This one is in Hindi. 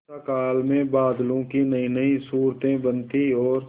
वर्षाकाल में बादलों की नयीनयी सूरतें बनती और